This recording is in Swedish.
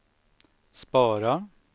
spara